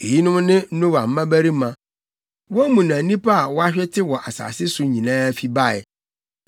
Eyinom ne Noa mmabarima. Wɔn mu na nnipa a wɔahwete wɔ asase so nyinaa fi bae.